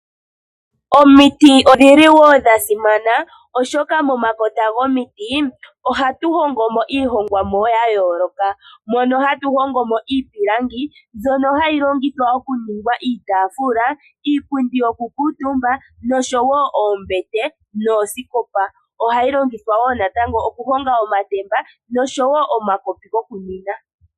Omiti odhili wo dha simana oshoka momakota gomiti ohatu hongo mo oohongomwa ya yooloka, mono hatu hongo mo iipilangi mbyono hayi longithwa oku ninga iitaafula, iipundi yoku kuutumba noshowo oombete noosikopa, ohayi longithwa wo natango oku honga omatemba noshowo omakopi gokuninwa.